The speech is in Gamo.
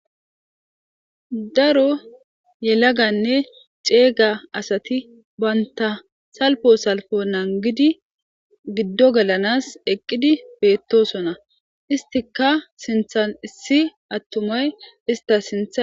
Daro yelaganne ceega asati baynta salpo salfo nangidi giddo gelanas eqqidi beettosona istika sinthan issi attumay ista sintha.